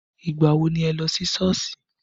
Ìgbà wo ni ẹ lọ sí Sọ́ọ̀sì?